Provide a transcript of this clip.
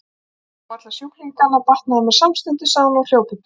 Þegar ég sá alla sjúklingana batnaði mér samstundis sagði hún og hljóp upp tröppurnar.